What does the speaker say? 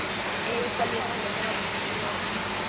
Egill hvernig líst þér á þessa stöðu?